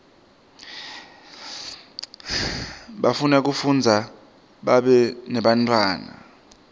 bafuna kushadza babe nebantfwana